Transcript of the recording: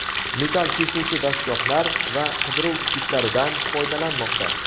metall kesuvchi dastgohlar va qidiruv itlaridan foydalanmoqda.